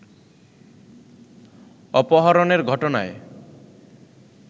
অপহরণের ঘটনায়